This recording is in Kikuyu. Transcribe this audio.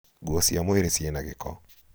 nguo cia mwĩrĩ ciĩ na gĩko